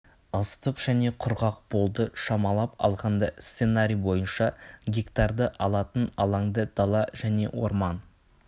ыстық және құрғақ болды шамалап алғанда сценарий бойынша гектарды алатын алаңда дала және орман